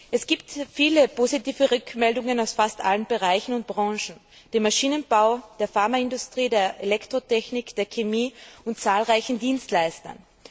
Es gibt viele positive Rückmeldungen aus fast allen Bereichen und Branchen dem Maschinenbau, der Pharmaindustrie, der Elektrotechnik, der Chemie sowie von zahlreichen Dienstleistern.